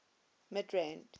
midrand